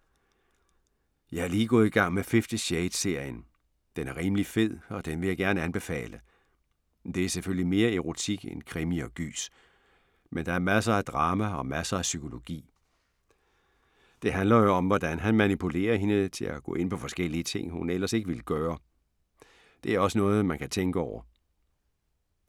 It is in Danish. Jeg er lige gået i gang med Fifty Shades-serien. Den er rimelig fed og den vil jeg gerne anbefale. Det er selvfølgelig mere erotik end krimi og gys. Men der er masser af drama og masser af psykologi. Det handler jo om, hvordan han manipulerer hende til at gå ind på forskellige ting, hun ellers ikke ville gøre. Det er også noget, man kan tænke over.